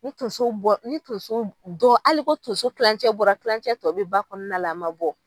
Ni tonso bɔ ni tonso hali ko tonso kilancɛ bɔra kilancɛ tɔ bi ba kɔnɔna la a ma bɔ